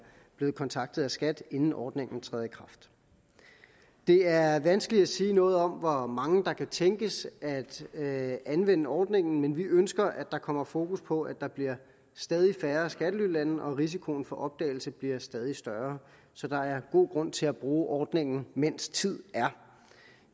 blevet kontaktet af skat inden ordningen træder i kraft det er vanskeligt at sige noget om hvor mange der kan tænkes at at anvende ordningen men vi ønsker at der kommer fokus på at der bliver stadig færre skattelylande og at risikoen for opdagelse bliver stadig større så der er god grund til at bruge ordningen mens tid er